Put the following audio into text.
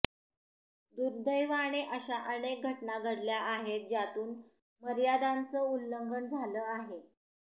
दुर्दैवाने अशा अनेक घटना घडल्या आहेत ज्यातून मर्यादांचं उल्लंघन झालं आहे